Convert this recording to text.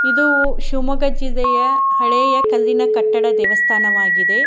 ಇದೂ ಶಿಮೊಗ್ಗ ಜಿಲ್ಲಿಯ ಹಳೆಯ ಕಲ್ಲಿನ ಕಟ್ಟಡ ದೇವಸ್ಥಾನವಾಗಿದೆ --